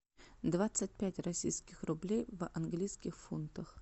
двадцать пять российских рублей в английских фунтах